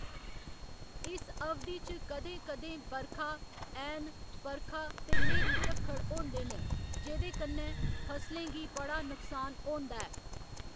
इस अवधि च कदें कदें बरखा, ऐह्‌न बरखा ते न्हेरी झक्खड़ होंदे न जेह्कन्नै फसलें गी बड़ा नुकसान होंदा ऐ।